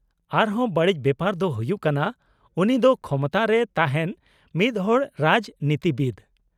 -ᱟᱨ ᱦᱚᱸ ᱵᱟᱹᱲᱤᱡ ᱵᱮᱯᱟᱨ ᱫᱚ ᱦᱩᱭᱩᱜ ᱠᱟᱱᱟ ᱩᱱᱤ ᱫᱚ ᱠᱷᱚᱢᱚᱛᱟ ᱨᱮ ᱛᱟᱦᱮᱱ ᱢᱤᱫᱦᱚᱲ ᱨᱟᱡᱽᱱᱤᱛᱤᱵᱤᱫ ᱾